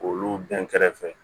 K'olu bɛn kɛrɛfɛ